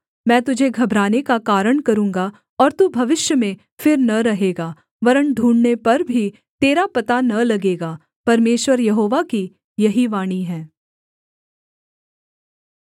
मैं तुझे घबराने का कारण करूँगा और तू भविष्य में फिर न रहेगा वरन् ढूँढ़ने पर भी तेरा पता न लगेगा परमेश्वर यहोवा की यही वाणी है